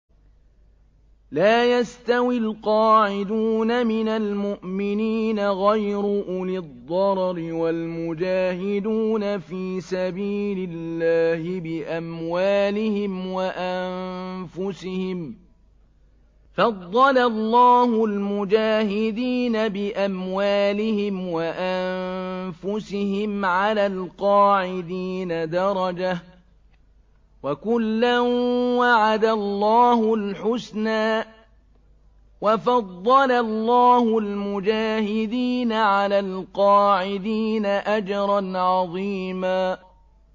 لَّا يَسْتَوِي الْقَاعِدُونَ مِنَ الْمُؤْمِنِينَ غَيْرُ أُولِي الضَّرَرِ وَالْمُجَاهِدُونَ فِي سَبِيلِ اللَّهِ بِأَمْوَالِهِمْ وَأَنفُسِهِمْ ۚ فَضَّلَ اللَّهُ الْمُجَاهِدِينَ بِأَمْوَالِهِمْ وَأَنفُسِهِمْ عَلَى الْقَاعِدِينَ دَرَجَةً ۚ وَكُلًّا وَعَدَ اللَّهُ الْحُسْنَىٰ ۚ وَفَضَّلَ اللَّهُ الْمُجَاهِدِينَ عَلَى الْقَاعِدِينَ أَجْرًا عَظِيمًا